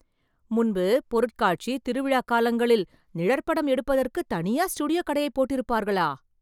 முன்பு, பொருட்காட்சி, திருவிழா காலங்களில், நிழற்படம் எடுப்பதற்கு தனியா ஸ்டுடியோ கடையை போட்டிருப்பார்களா...